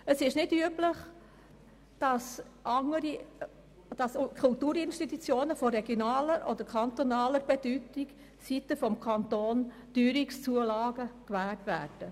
Es ist nicht üblich, dass Kulturinstitutionen von regionaler oder kantonaler Bedeutung seitens des Kantons Teuerungszulagen gewährt werden.